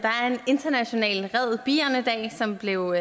international red bierne dag som blev